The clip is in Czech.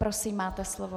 Prosím, máte slovo.